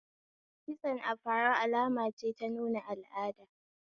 Kitson afaro alama ce ta nuna al'ada.